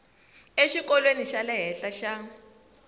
exikolweni xa le henhla xa